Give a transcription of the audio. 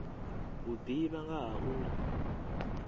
u ḓivha nga ha uri